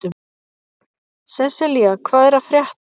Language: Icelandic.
Seselía, hvað er að frétta?